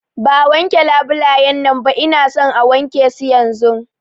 Ba a wanke labulayan nan ba, Ina son a wanke su yanzun!